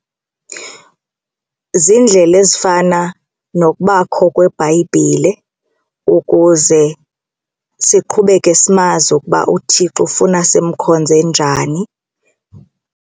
Ziindlela ezifana nokubakho kweBhayibhile ukuze siqhubeke simazi ukuba uThixo ufuna simkhonze njani.